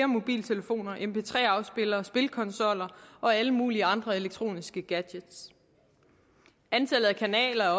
mobiltelefoner mp3 afspillere spilkonsoller og alle mulige andre elektroniske gadgets antallet af kanaler er